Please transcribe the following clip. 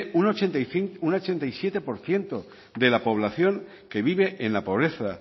un ochenta y siete por ciento de la población que vive en la pobreza